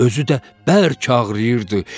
Özü də bərk ağrıyırdı.